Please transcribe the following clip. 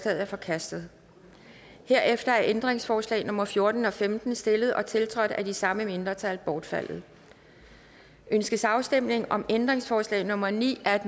er forkastet herefter er ændringsforslag nummer fjorten og femten stillet og tiltrådt af de samme mindretal bortfaldet ønskes afstemning om ændringsforslag nummer ni af